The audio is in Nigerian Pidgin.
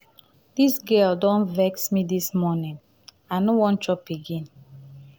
dis um girl don vex me dis morning i no wan chop again. um